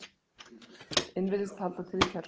inn virðist halda til í kjallaranum.